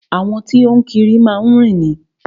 Àwọn tí o ń kiri má ń rìn ni.